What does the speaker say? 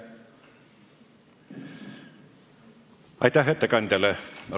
Aitäh ettekandjale!